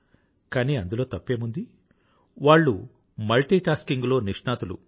కానీ అందులో తప్పేముంది వాళ్ళు మల్టీ టాస్కింగ్ లో నిష్ణాతులు